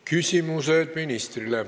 Küsimused ministrile.